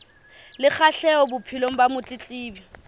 le kgahleho bophelong ba motletlebi